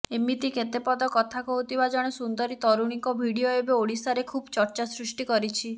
ଏମିତି କେତେପଦ କଥା କହୁଥିବା ଜଣେ ସୁନ୍ଦରୀ ତରୁଣୀଙ୍କ ଭିଡିଓ ଏବେ ଓଡ଼ିଶାରେ ଖୁବ୍ ଚର୍ଚ୍ଚା ସୃଷ୍ଟି କରିଛି